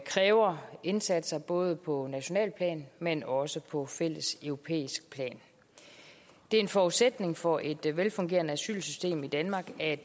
kræver indsatser både på nationalt plan men også på fælles europæisk plan det er en forudsætning for et velfungerende asylsystem i danmark at